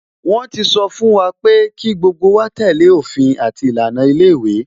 Wọn ti sọ fún wa pé kí gbogbo wa tẹ́lẹ̀ òfin àti ìlànà ilé ìwé